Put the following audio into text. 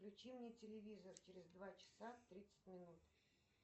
включи мне телевизор через два часа тридцать минут